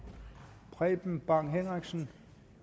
preben bang henriksen